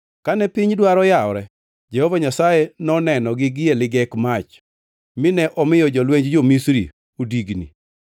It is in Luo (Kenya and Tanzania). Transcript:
Kane piny dwaro yawore Jehova Nyasaye nonenogi gie ligek mach, mine omiyo jolwenj jo-Misri odigni.